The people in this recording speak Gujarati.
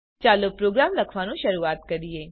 ચાલો પ્રોગ્રામ લખવાનું શરૂઆત કરીએ